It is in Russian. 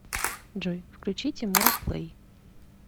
джой включи тимура плэй